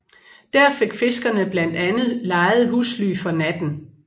Der fik fiskerne blandt andet lejede husly for natten